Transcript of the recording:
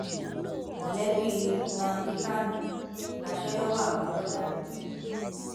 mọlẹbí nnamdi kanu gbaṣẹ lọwọ àwọn lọọyà rẹ